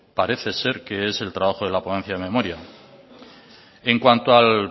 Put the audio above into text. parece ser que es el trabajo de la ponencia de memoria en cuanto al